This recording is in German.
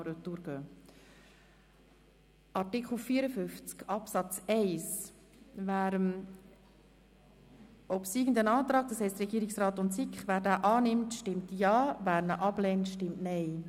Wer den Artikel 54 Absatz 1 so, wie er vom Regierungsrat und von der SiK-Mehrheit beantragt wurde, annimmt, stimmt Ja, wer dies ablehnt, stimmt Nein.